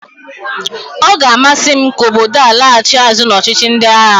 Ọ ga-amasị m ka obodo a laghachi azụ n'ọchịchị ndị agha